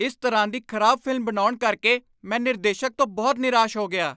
ਇਸ ਤਰ੍ਹਾਂ ਦੀ ਖ਼ਰਾਬ ਫ਼ਿਲਮ ਬਣਾਉਣ ਕਰਕੇ ਮੈ ਨਿਰਦੇਸ਼ਕ ਤੋਂ ਬਹੁਤ ਨਿਰਾਸ਼ ਹੋ ਗਿਆ।